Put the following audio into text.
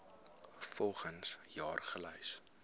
volgens jaar gelys